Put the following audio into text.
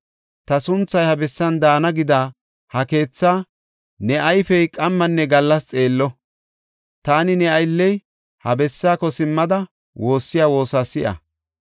‘Ta sunthay he bessan daana’ gida ha keethaa ne ayfey qammanne gallas xeello. Taani ne aylley ha bessaako simmada woossiya woosa si7a.